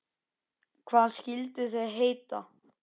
Hvað skyldu þau heita?